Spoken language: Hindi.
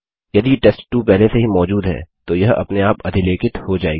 यदि टेस्ट2 पहले से ही मौजूद है तो यह अपने आप अधिलेखित हो जायेगी